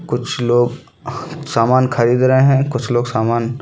कुछ लोग सामान खरीद रहे है कुछ लोग सामान --